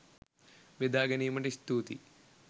බෙදා ගැනීමට ස්තුතියි!